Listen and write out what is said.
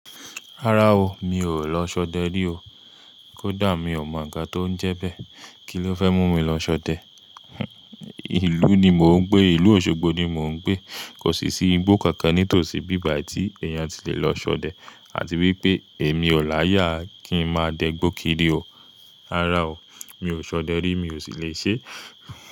Rárá o, mi ò lọ ṣọdẹ rí o. Kódà mi ò mọ ǹkan tó ń jẹ bẹ́ẹ̀. Kí ló fẹ́ mú mi lọ ṣọdẹ? Ìlú ni mò ń gbé. Ìlú Òṣogbo ni mò ń gbé. Kò sì sí igbó kankan nítòsí bíbà tí èèyàn ti le lọ ṣọdẹ àti wípé èmi na yà á kí ń máa dẹ gbó kiri o. Rárá o, mi ò ṣọdẹ rí, mi ò sì le ṣé.